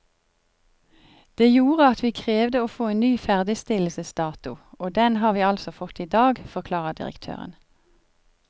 Det gjorde at vi krevde å få en ny ferdigstillelsesdato, og den har vi altså fått i dag, forklarer direktøren.